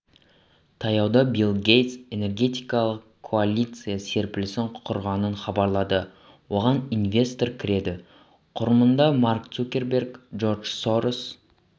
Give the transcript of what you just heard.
таяуда билл гейтс энергетикалық коалиция серпілісін құрғанын хабарлады оған инвестор кіреді құрмында марк цукерберг джордж сорос